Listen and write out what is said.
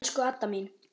Elsku Adda mín.